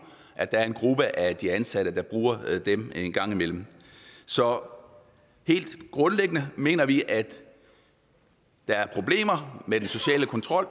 at der er en gruppe af ansatte der bruger dem en gang imellem så helt grundlæggende mener vi at der er problemer med den sociale kontrol